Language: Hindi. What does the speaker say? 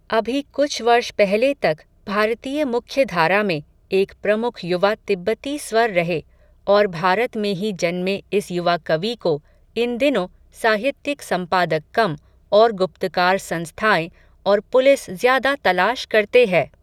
अभी, कुछ वर्ष पहले तक, भारतीय मुख्यधारा में, एक प्रमुख युवा तिब्बती स्वर रहे, और भारत में ही जन्मे इस युवा कवि को, इन दिनों, साहित्यिक संपादक कम, और गुप्तकार संस्थाएं, और पुलिस ज़्यादा तलाश करते है